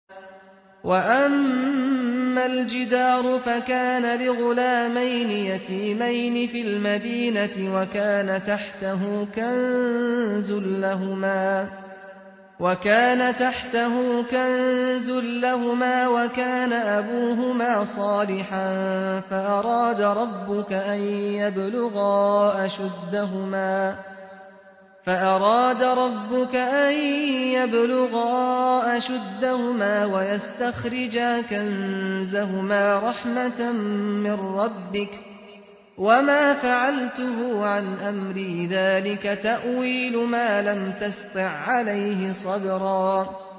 وَأَمَّا الْجِدَارُ فَكَانَ لِغُلَامَيْنِ يَتِيمَيْنِ فِي الْمَدِينَةِ وَكَانَ تَحْتَهُ كَنزٌ لَّهُمَا وَكَانَ أَبُوهُمَا صَالِحًا فَأَرَادَ رَبُّكَ أَن يَبْلُغَا أَشُدَّهُمَا وَيَسْتَخْرِجَا كَنزَهُمَا رَحْمَةً مِّن رَّبِّكَ ۚ وَمَا فَعَلْتُهُ عَنْ أَمْرِي ۚ ذَٰلِكَ تَأْوِيلُ مَا لَمْ تَسْطِع عَّلَيْهِ صَبْرًا